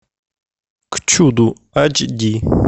к чуду айч ди